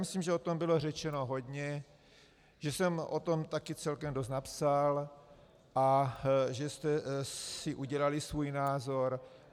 Myslím, že o tom bylo řečeno hodně, že jsem o tom taky celkem dost napsal a že jste si udělali svůj názor.